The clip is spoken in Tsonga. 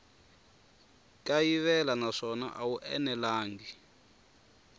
kayivela naswona a wu enelangi